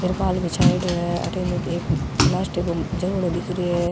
तिरपाल बिछायेडॉ है अठन एक प्लास्टिक के जगड़ो दिख रो है।